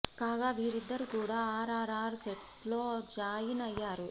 కాగా వీరిద్దరు కూడా ఆర్ ఆర్ ఆర్ సెట్స్ లో జాయిన్ అయ్యారు